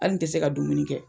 Hali n te se ka dumuni kɛ.